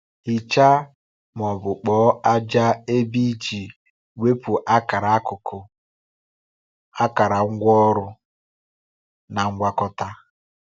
Hichaa ma ọ bụ kpọọ ájá ebe iji wepụ akara akụkụ, akara ngwaọrụ, na ngwakọta.